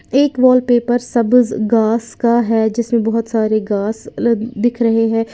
एक वॉलपेपर सब गास का है जिसमें बहोत सारे गास ल दिख रहे हैं।